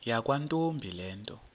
yakwantombi le nto